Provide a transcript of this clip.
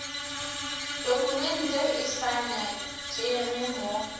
tokumente e sa nyakege mo